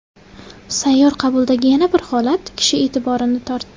Sayyor qabuldagi yana bir holat kishi e’tiborini tortdi.